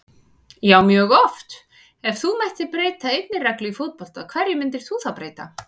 Já mjög oft Ef þú mættir breyta einni reglu í fótbolta, hverju myndir þú breyta?